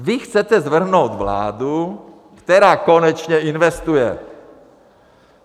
Vy chcete svrhnout vládu, která konečně investuje.